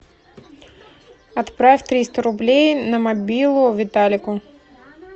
отправь триста рублей на мобилу виталику